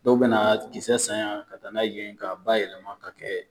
Dɔw bɛ na kisɛ san yan ka taa n'a ye yen, ka ba yɛlɛma ka kɛ